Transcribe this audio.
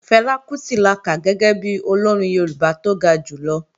Fẹlá Kútì la kà gẹ́gẹ́ bi Olórin Yorùbá tó ga jùlọ